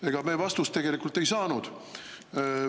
Ega me vastust tegelikult ei saanud.